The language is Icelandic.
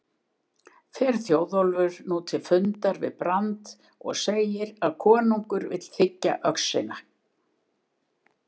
Fer Þjóðólfur nú til fundar við Brand og segir að konungur vill þiggja öxina.